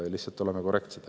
Lihtsalt oleme korrektsed.